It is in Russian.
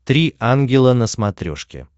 три ангела на смотрешке